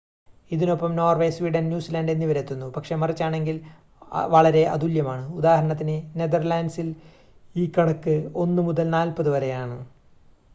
ഇതിനൊപ്പം Norway Sweden‍ New Zealand എന്നിവരെത്തുന്നു പക്ഷേ മറിച്ചാണെങ്കില്‍ വളരെ അതുല്യമാണ്‌ ഉദാഹരണത്തിന്‌ നെതര്‍ലാന്‍റ്സില്‍ ഈ കണക്ക് 1 മുതല്‍ നാല്‍പത് വരെയാണ്‌